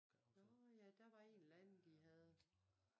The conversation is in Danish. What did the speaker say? Nåh ja der var en eller anden de havde